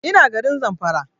Ina garin Zamfara